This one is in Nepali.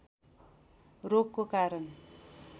रोगको कारण